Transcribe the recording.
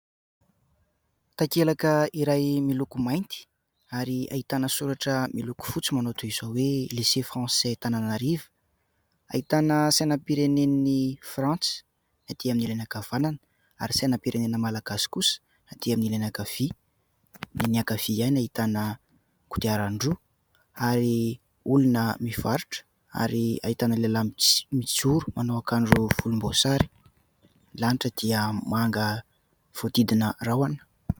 Takelaka iray miloko mainty ary ahitana soratra miloko fotsy manao toy izao hoe : "Lycée Francais Tananarive" ; ahitana sainam-pireneny Frantsa atỳ amin'ny ilany ankavanana ary sainam-pirenena malagasy kosa atỳ amin'ny ilany ankavia. Ny ankavia ihany ahitana kodiaran-droa ary olona mivarotra ary ahitana lehilahy mijoro manao akanjo volomboasary. Ny lanitra dia manga voahodidina rahona.